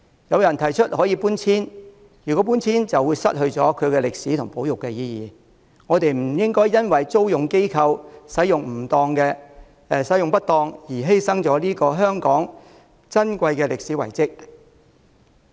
有人提出可以搬遷，但搬遷就失去了其歷史和保育意義，我們不應因為租用機構使用不當而犧牲了香港這個歷史遺蹟。